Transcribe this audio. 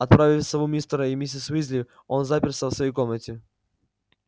отправив сову мистеру и миссис уизли он заперся в своей комнате